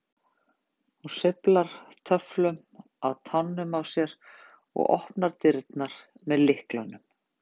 Hún sveiflar töfflunum á tánum á sér og opnar dyrnar með lyklinum.